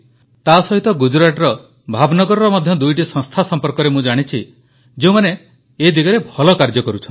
ତାସହିତ ଗୁଜରାଟର ଭାବନଗରର ମଧ୍ୟ ଦୁଇଟି ସଂସ୍ଥା ସମ୍ପର୍କରେ ମୁଁ ଜାଣିଛି ଯେଉଁମାନେ ଏ ଦିଗରେ ଭଲ କାର୍ଯ୍ୟ କରୁଛନ୍ତି